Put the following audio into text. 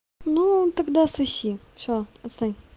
ну тогда соси все отстань